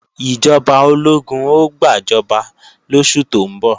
Ìjọba ológun ó gbàjọba lóṣù tó ń bọ̀